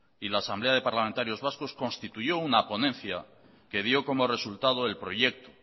y la asamblea de parlamentarios vascos constituyó una ponencia que dio como resultado el proyecto